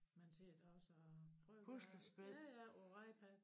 Han sidder da også og trykker ja ja på iPad